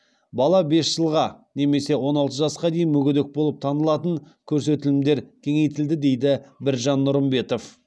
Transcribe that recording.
бала бес жылға немесе он алты жасқа дейін мүгедек болып танылатын көрсетілімдер кеңейтілді дейді біржан нұрымбетов